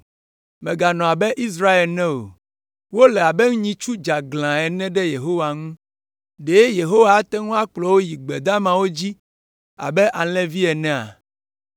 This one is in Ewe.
Mèganɔ abe Israel ene o, wole abe nyitsu dzeaglã ene ɖe Yehowa ŋu, ɖe Yehowa ate ŋu akplɔ wo yi gbe damawo dzi abe alẽvi enea?